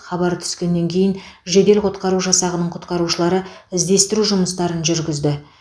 хабар түскеннен кейін жедел құтқару жасағының құтқарушылары іздестіру жұмыстарын жүргізді